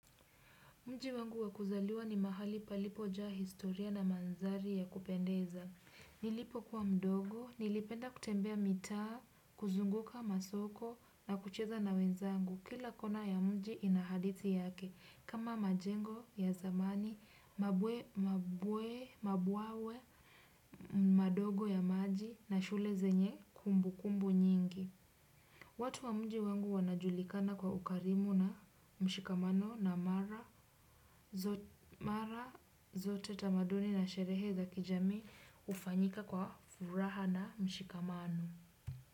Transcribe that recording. Mji wangu wa kuzaliwa ni mahali palipojaa historia na mandhari ya kupendeza. Nilipokuwa mdogo, nilipenda kutembea mitaa, kuzunguka masoko na kucheza na wenzangu. Kila kona ya mji ina hadithi yake, kama majengo ya zamani, mabwe, mabwe, mabwawa, madogo ya maji na shule zenye kumbu kumbu nyingi. Watu wa mji wangu wanajulikana kwa ukarimu na mshikamano na mara zote tamaduni na sherehe za kijami hufanyika kwa furaha na mshikamano.